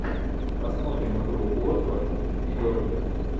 посмотрим игру уотфорд и бернли